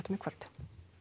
í kvöld